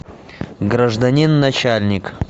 гражданин начальник